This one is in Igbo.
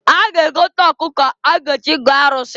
A ga-egota ọkụkọ a ga-eji gọọ arụsị.